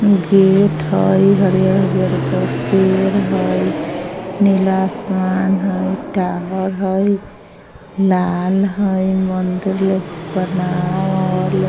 Gate हेय हरियर-हरियर का पेड़ हेय नीला आसमान हेय टावर हेय लाल हेय मंदिर ले बनावल।